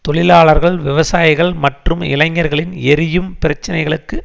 தொழிலாளர்கள் விவசாயிகள் மற்றும் இளைஞர்களின் எரியும் பிரச்சினைகளுக்கு